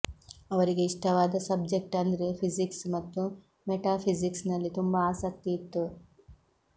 ಅವರ ಇಷ್ಟವಾದ ಸಬ್ಜೆಕ್ಟ್ ಅಂದ್ರೆ ಫಿಸಿಕ್ಸ್ ಮತ್ತು ಮೆಟಾ ಫಿಸಿಕ್ಸ್ ನಲ್ಲಿ ತುಂಬಾ ಆಸಕ್ತಿ ಇತ್ತು